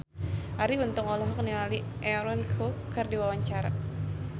Arie Untung olohok ningali Aaron Kwok keur diwawancara